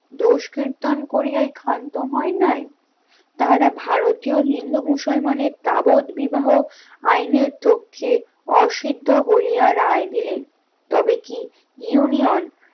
দোষ কিত্তন করিয়ায় ক্ষান্ত হয় নাই তাহারা ভারতীয় হিন্দু মুসলমানের তাবদবিবাহ আইনের চোখে অসিদ্ধ বলিয়া রায় দিলেন, তবে কি union